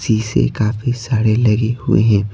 सी से काफी सारे लगे हुए हैं।